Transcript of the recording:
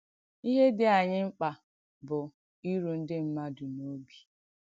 Ìhé dị̀ ànyị̣ mkpà bụ̀ ìrù ndí mmadù n’òbì.